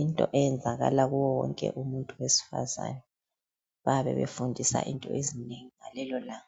into eyenzakana kuwo yonke umuntu besifazana babe befundisa into ezinengi ngalelo langa.